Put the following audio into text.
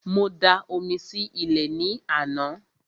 Mo da omi sí ilẹ̀ ní àná